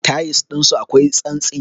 Tayils ɗinsu akwai santsi.